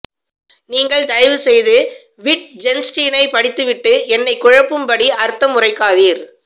நீங்கள் தயவு செய்து விட்ஜென்ஸ்டீனை படித்து விட்டு என்னை குழப்பும் படி அர்த்தம் உரைக்காதீர்